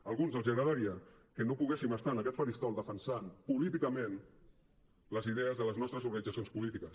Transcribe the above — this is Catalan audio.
a alguns els agradaria que no poguéssim estar en aquest faristol defensant políticament les idees de les nostres organitzacions polítiques